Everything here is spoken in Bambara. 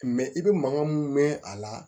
i bɛ mankan mun mɛn a la